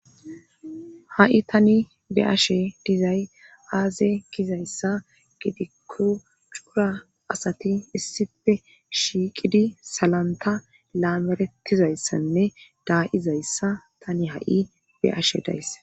Ha'i tani be ashe dizay aaze gizayssa gidikko cura asati issife shiiqidi salanta laamerettizayssanne daayizayssa tani ha'i be ashe dayss.